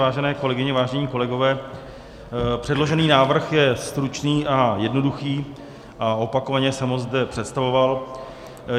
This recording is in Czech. Vážené kolegyně, vážení kolegové, předložený návrh je stručný a jednoduchý a opakovaně jsem ho zde představoval.